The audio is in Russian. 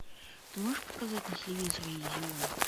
ты можешь показать на телевизоре иллюзион